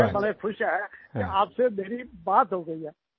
हम बड़े खुश हैं कि आपसे मेरी बात हो गयी है